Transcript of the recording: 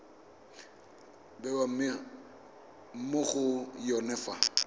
bewa mo go yone fa